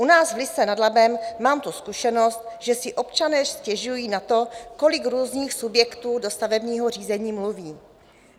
U nás v Lysé nad Labem mám tu zkušenost, že si občané stěžují na to, kolik různých subjektů do stavebního řízení mluví.